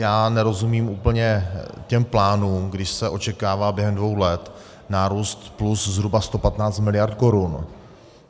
Já nerozumím úplně těm plánům, když se očekává během dvou let nárůst plus zhruba 115 mld. korun.